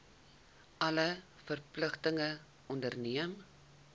alle verpligtinge onderneem